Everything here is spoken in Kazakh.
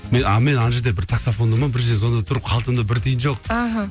мен а мен ана жерде таксофонда ма бір жерде звондап тұрмын қалтамда бір тиын жоқ аха